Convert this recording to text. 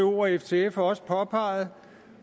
og ftf også påpeget